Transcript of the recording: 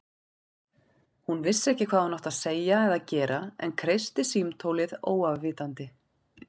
Hún vissi ekki hvað hún átti að segja eða gera en kreisti símtólið óafvitandi.